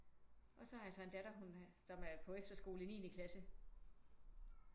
Og så har jeg så en datter som er på efterskole i niende klasse